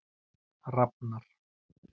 Rafnar